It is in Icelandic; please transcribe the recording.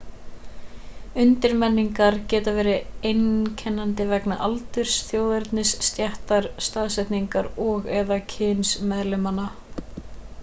undirmenningar geta verið einkennandi vegna aldurs þjóðernis stéttar staðsetningar og/eða kyns meðlimanna